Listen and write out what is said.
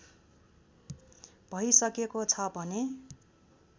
भइसकेको छ भने